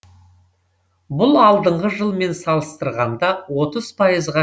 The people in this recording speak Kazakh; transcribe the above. бұл алдыңғы жылмен салыстырғанда отыз пайызға